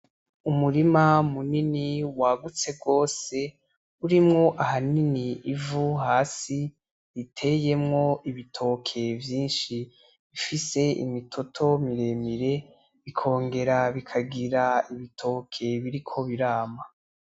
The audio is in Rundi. Umurima munini wagutse gose, urimwo ahanini ivu hasi uteyemwo ibitoke vyinshi ufise imitoto miremire, bikogera bikagira ibitoke biriko birama.